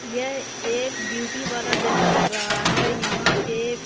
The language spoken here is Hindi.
यह एक ब्यूटी वाला जैसा लग रहा है यहां पे--.